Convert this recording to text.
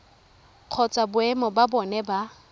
kgotsa boemo ba bona ba